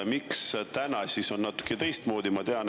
Miks täna on natuke teistmoodi?